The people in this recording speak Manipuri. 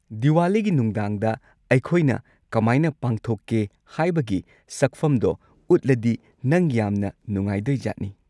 ꯗꯤꯋꯥꯂꯤꯒꯤ ꯅꯨꯡꯗꯥꯡꯗ ꯑꯩꯈꯣꯏꯅ ꯀꯃꯥꯏꯅ ꯄꯥꯡꯊꯣꯛꯀꯦ ꯍꯥꯏꯕꯒꯤ ꯁꯛꯐꯝꯗꯣ ꯎꯠꯂꯗꯤ ꯅꯪ ꯌꯥꯝꯅ ꯅꯨꯡꯉꯥꯏꯗꯣꯏꯖꯥꯠꯅꯤ꯫